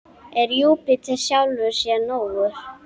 Er Júpíter sjálfum sér nógur?